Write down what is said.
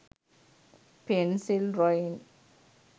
pencil drawing